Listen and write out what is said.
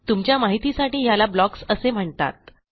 तुमच्या माहितीसाठी ह्याला ब्लॉक्स असे म्हणतात